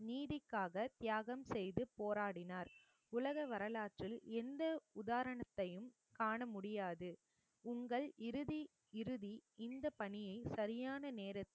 நீதிக்காக தியாகம் செய்து போராடினார் உலக வரலாற்றில் எந்த உதாரணத்தையும் காண முடியாது உங்கள் இறுதி இறுதி இந்த பணியை சரியான நேரத்தில்